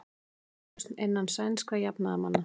Upplausn innan sænskra jafnaðarmanna